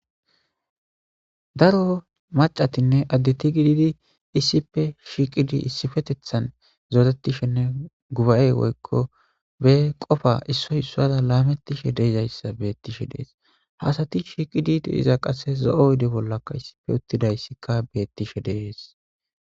Daro maccatinne addeti issippe gididinneissipetethan zorettishe de7izayssanne guba7e woykko be qofa issoy issaara laamettishe de7izayssa beetishe dees. Ha asati shiiqidi de7iza qasse zo7o oyde bollakka uttidaysdikka beettishe de7ees.